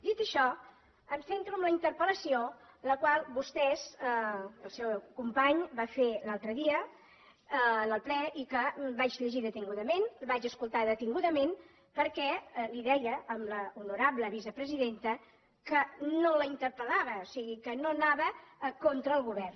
dit això em centro en la interpel·lació que el seu company va fer l’altre dia en el ple i que vaig llegir detingudament vaig escoltar detingudament perquè li deia a l’honorable vicepresidenta que no la interpellava o sigui que no anava contra el govern